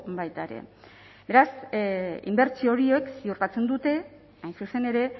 baita ere beraz inbertsio horiek ziurtatzen dute hain zuzen ere